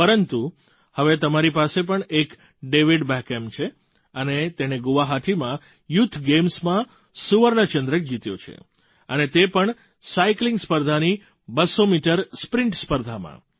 પરંતુ હવે તમારી પાસે પણ એક ડેવિડ બૅકહામ છે અને તેણે ગુવાહાટીમાં યૂથ ગેમ્સમાં સુવર્ણચંદ્રક જીત્યો છે અને તે પણ સાઇકલિંગ સ્પર્ધાની 200 મીટર સ્પ્રિંટ સ્પર્ધામાં